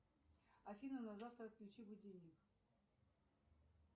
афина на завтра отключи будильник